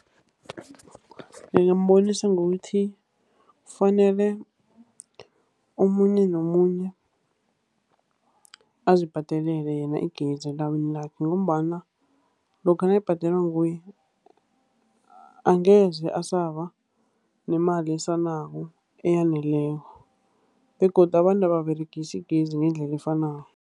Ngingambonisa ngokuthi kufanele omunye nomunye azibhadalele yena igezi elawini lakhe, ngombana lokha nayibhadelwa nguye, angeze asaba nemali esalako eyaneleko. Begodu abantu ababeregisi igezi ngendlela efanako.